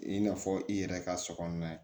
I n'a fɔ i yɛrɛ ka so kɔnɔna ye